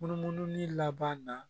Munumunu laban na